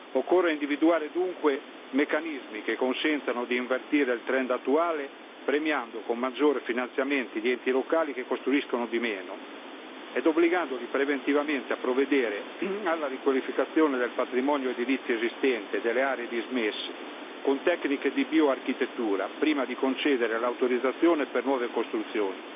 Occorre individuare dunque meccanismi che consentano di invertire il trend attuale, premiando con maggiori finanziamenti gli enti locali che costruiscono di meno e obbligandoli preventivamente a provvedere alla riqualificazione del patrimonio edilizio esistente e delle aree dismesse con tecniche di bioarchitettura, prima di concedere l'autorizzazione per nuove costruzioni